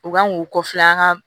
U kan k'u kɔfila an ka